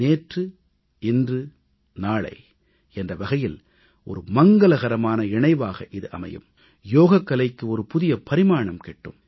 நேற்று இன்று நாளை என்ற வகையில் மங்களகரமான இணைவாக இது அமையும் யோகக்கலைக்கு புதிய பரிமாணம் கிட்டும்